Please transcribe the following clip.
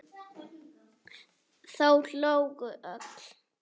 Þau hlógu öll.